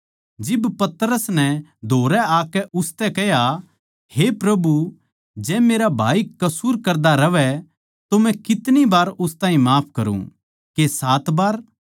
जिब पतरस नै धोरै आकै उसतै कह्या हे प्रभु जै मेरा भाई कसूर करदा रहवै तो मै कितनी बै उस ताहीं माफ करुँ के सात बै